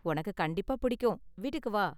உனக்கு கண்டிப்பா புடிக்கும், வீட்டுக்கு வா!